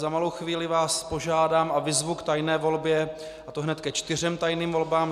Za malou chvíli vás požádám a vyzvu k tajné volbě, a to hned ke čtyřem tajným volbám.